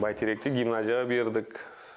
бәйтеректе гимназияға бердік